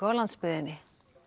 á landsbyggðinni